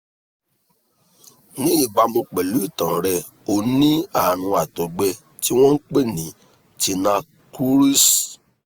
ní ìbámu pẹ̀lú ìtàn rẹ o ní àrùn àtọ́gbẹ tí wọ́n ń pè ní tinea cruris